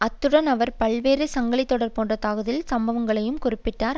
அத்துடன் அவர் பல்வேறு சங்கிலித்தொடர் போன்ற தாக்குதல் சம்பவங்களையும் குறிப்பிட்டார்